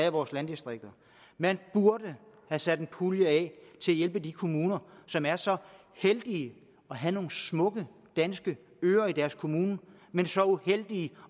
i vores landdistrikter man burde have sat en pulje af til at hjælpe de kommuner som er så heldige at have nogle smukke øer i deres kommune men så uheldige